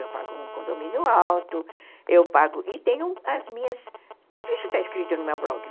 Eu pago um condomínio alto, eu pago... E tenho as minhas... Tudo isso está escrito no meu blog.